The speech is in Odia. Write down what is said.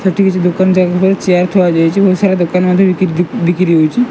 ଏଠି କିଛି ଦୋକାନ ଯାକ ପରେ ଚେୟାର ଥୁଆ ଯାଇଅଛି ବହୁତ୍ ସାରା ଦୋକାନ ମଧ୍ୟ ବି ବି ବିକ୍ରି ହଉଛି।